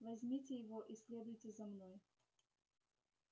возьмите его и следуйте за мной